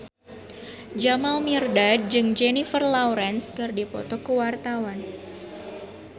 Jamal Mirdad jeung Jennifer Lawrence keur dipoto ku wartawan